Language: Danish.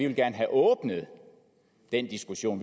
vil have åbnet den diskussion